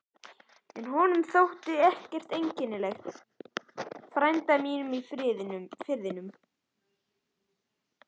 En honum þótti ég ekkert einkennileg frænda mínum í Firðinum.